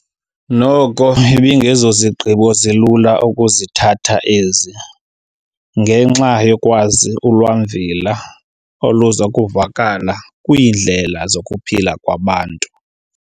Noko ibingezozigqibo zilula ukuzithatha ezi, ngenxa yokwazi ulwamvila oluzokuvakala kwiindlela zokuphila kwabantu.